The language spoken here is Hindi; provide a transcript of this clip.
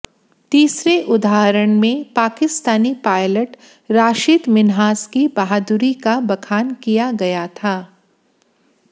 तीसरे उदाहरण में पाकिस्तानी पायलट राशिद मिन्हास की बहादुरी का बखान किया गया था